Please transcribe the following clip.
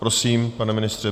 Prosím, pane ministře.